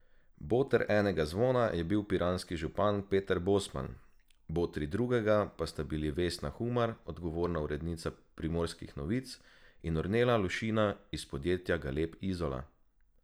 Boter enega zvona je bil piranski župan Peter Bosman, botri drugega pa sta bili Vesna Humar, odgovorna urednica Primorskih novic, in Ornela Lušina iz podjetja Galeb Izola.